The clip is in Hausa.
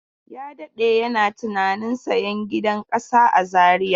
Ya jima yana tunanin sayan gidan ƙasa a Zariya.